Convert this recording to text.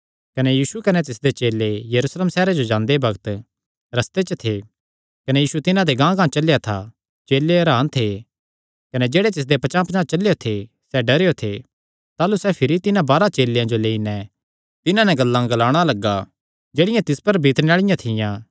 कने यीशु कने तिसदे चेले यरूशलेम सैहरे जो जांदे बग्त रस्ते च थे कने यीशु तिन्हां दे गांहगांह चलेया था चेले हरान थे कने जेह्ड़े तिसदे पचांह़पचांह़ चलेयो थे सैह़ डरेयो थे ताह़लू सैह़ भिरी तिन्हां बारांह चेलेयां जो लेई नैं तिन्हां नैं गल्लां ग्लाणा लग्गा जेह्ड़ियां तिस पर बितणे आल़िआं थियां